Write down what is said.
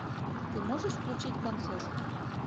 ты можешь включить концерт